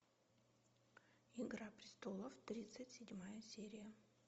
игра престолов тридцать седьмая серия